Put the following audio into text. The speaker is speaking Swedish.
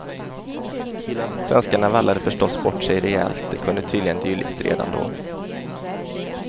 Svenskarna vallade förstås bort sig rejält, de kunde tydligen dylikt redan då.